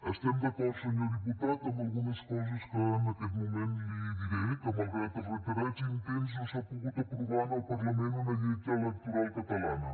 estem d’acord senyor diputat amb algunes coses que en aquest moment li diré que malgrat els reiterats intents no s’ha pogut aprovar en el parlament una llei electoral catalana